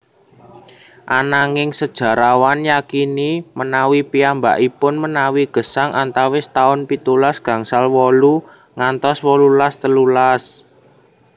Ananging sejarawan yakini menawi piyambakipun menawi gesang antawis taun pitulas gangsal wolu ngantos wolulas telulas